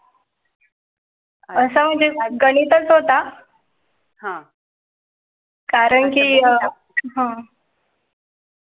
असं गणितच होता. हा कारण की अह